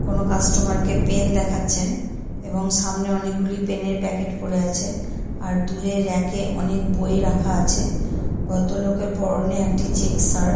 কোন কাস্টমার কে পেন দেখাচ্ছেন এবং সামনে অনেকগুলি পেনের প্যাকেট পড়ে আছে আর দূরের রেক এ অনেক বই রাখা আছে ভদ্রলোকের পরনে একটি চেক শার্ট।